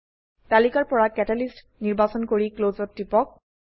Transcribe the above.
তালিকাৰ পৰা কেটালিষ্ট নিৰ্বাচন কৰি ক্লছ ত টিপক